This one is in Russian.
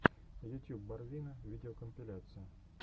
ютьюб барвина видеокомпиляция